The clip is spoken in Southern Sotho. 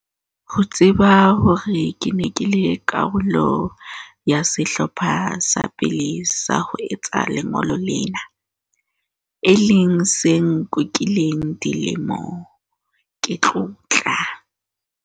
Ho tseba hore ke ne ke le karolo ya sehlopha sa pele sa ho etsa lengolo lena, e leng se nkukileng dilemo, ke tlotla.